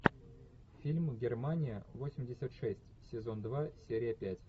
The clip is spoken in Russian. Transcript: фильм германия восемьдесят шесть сезон два серия пять